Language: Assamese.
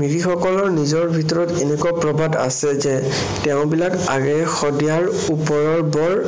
মিৰিসকলৰ নিজৰ ভিতৰত এনেকুৱা প্ৰবাদ আছে যে তেওঁ বিলাক আগেয়ে শদিয়াৰ ওপৰৰ বৰ